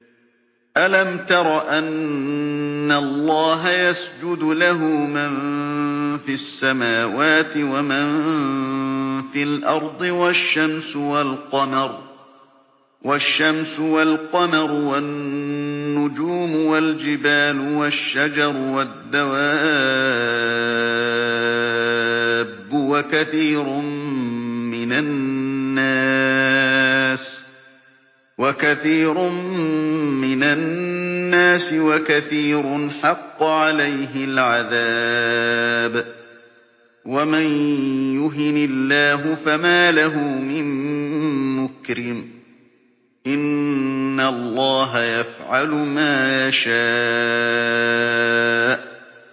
أَلَمْ تَرَ أَنَّ اللَّهَ يَسْجُدُ لَهُ مَن فِي السَّمَاوَاتِ وَمَن فِي الْأَرْضِ وَالشَّمْسُ وَالْقَمَرُ وَالنُّجُومُ وَالْجِبَالُ وَالشَّجَرُ وَالدَّوَابُّ وَكَثِيرٌ مِّنَ النَّاسِ ۖ وَكَثِيرٌ حَقَّ عَلَيْهِ الْعَذَابُ ۗ وَمَن يُهِنِ اللَّهُ فَمَا لَهُ مِن مُّكْرِمٍ ۚ إِنَّ اللَّهَ يَفْعَلُ مَا يَشَاءُ ۩